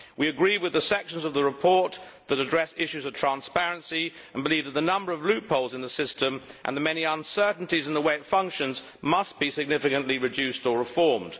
We agree with the sections of the report that address issues of transparency and believe that the number of loopholes in the system and the many uncertainties in the way it functions must be significantly reduced or reformed.